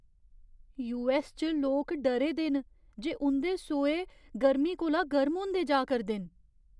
US च लोक डरे दे न जे उं'दे सोहे गर्म कोला गर्म होंदे जा करदे न।